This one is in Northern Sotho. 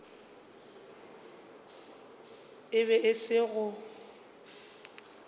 e be e se go